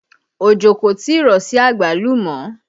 Ojo kò tí ì rọ̀ sí àgbálùmọ́